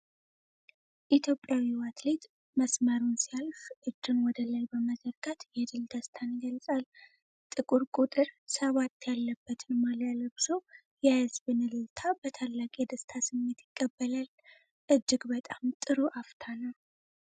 ኢትዮጵያዊው አትሌት መስመሩን ሲያልፍ እጁን ወደ ላይ በመዘርጋት የድል ደስታን ይገልጻል። ጥቁር ቁጥር ሰባት ያለበትን ማሊያ ለብሶ፣ የህዝብን እልልታ በታላቅ የደስታ ስሜት ይቀበላል። እጅግ በጣም ጥሩ አፍታ ነው።